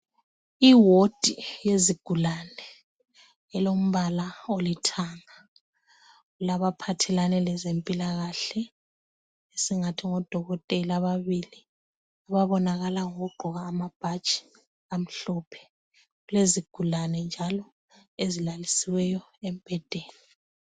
Iwodi yezigulane ilombala olithanga ilaba phathelane lezempilakahle esingathi ngodokotela ababili ababonakala ngoku gqoka amabhatshi amhlophe, kulezi gulane njalo ezilalisiweyo embhedeni.